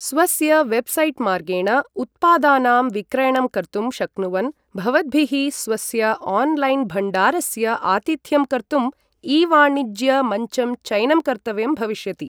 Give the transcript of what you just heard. स्वस्य वेबसाइट् मार्गेण उत्पादानाम् विक्रयणं कर्तुं शक्नुवन् भवद्भिः स्वस्य ऑनलाइन भण्डारस्य आतिथ्यं कर्तुं ई वाणिज्य मञ्चं चयनं कर्तव्यं भविष्यति ।